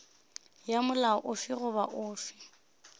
ya molao ofe goba ofe